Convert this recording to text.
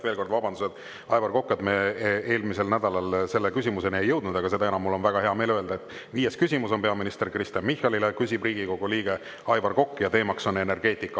Veel kord vabandused, Aivar Kokk, et me eelmisel nädalal selle küsimuseni ei jõudnud, aga seda enam on mul väga hea meel öelda, et viies küsimus on peaminister Kristen Michalile, küsib Riigikogu liige Aivar Kokk ja teemaks on energeetika.